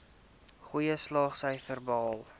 goeie slaagsyfers behaal